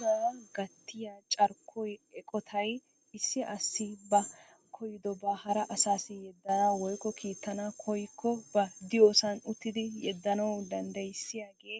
Cora gatiya carkkoy eqotay issi asi ba koyyidoba hara asaassi yedana woykko kiitana koykko ba diyoosan uttidi yeddanawu danddayssiyagee